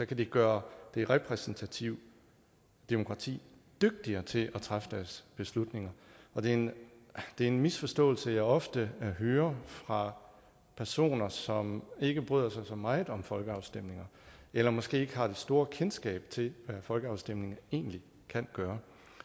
kan de gøre det repræsentative demokrati dygtigere til at træffe deres beslutninger og det er en misforståelse som jeg ofte hører fra personer som ikke bryder sig så meget om folkeafstemninger eller måske ikke har det store kendskab til hvad folkeafstemninger egentlig kan gøre